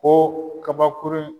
Ko kabakurun